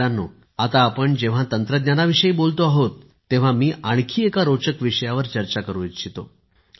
मित्रांनो आता आपण जेव्हा तंत्रज्ञानाविषयी बोलतो आहोत तेव्हा मी आणखी एका रोचक विषयावर चर्चा करु इच्छितो